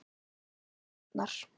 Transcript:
Gústa batnar.